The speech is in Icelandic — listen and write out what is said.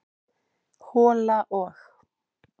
hola og.